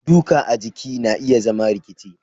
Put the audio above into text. duka a jiki na iya zama rikici.